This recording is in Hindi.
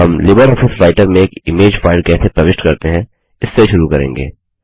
हम लिबर ऑफिस राइटर में एक इमेज फाइल कैसे प्रविष्ट करते हैं इससे शुरू करेंगे